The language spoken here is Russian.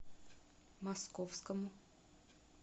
московскому